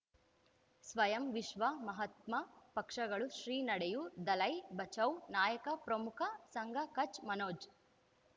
ಸ್ವಯಂ ವಿಶ್ವ ಮಹಾತ್ಮ ಪಕ್ಷಗಳು ಶ್ರೀ ನಡೆಯೂ ದಲೈ ಬಚೌ ನಾಯಕ ಪ್ರಮುಖ ಸಂಘ ಕಚ್ ಮನೋಜ್